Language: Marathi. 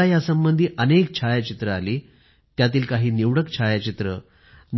मला या संबंधी अनेक छायाचित्रे आली त्यातील काही निवडक छायाचित्रे